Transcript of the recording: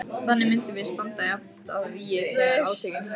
Þannig myndum við standa jafnt að vígi þegar átökin hæfust.